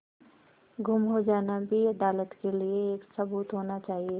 गुम हो जाना भी अदालत के लिये एक सबूत होना चाहिए